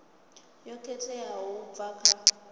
yo khetheaho u bva kha